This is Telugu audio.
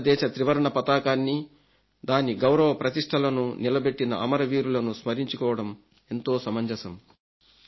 భారతదేశ త్రివర్ణ పతాకాన్ని దాని గౌరవ ప్రతిష్టలను నిలబెట్టిన అమరవీరులను స్మరించుకోవడం ఎంతో సమంజసం